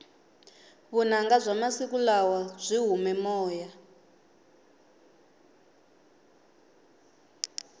vunanga bya masiku lawa byi hume moya